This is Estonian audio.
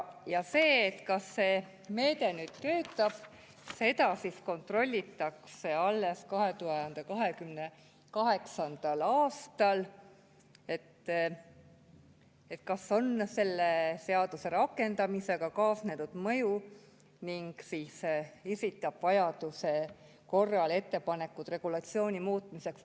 Seda, kas see meede töötab, kontrollitakse alles 2028. aastal, kas selle seaduse rakendamisega on kaasnenud mõju ning esitatakse vajaduse korral ettepanekud regulatsiooni muutmiseks.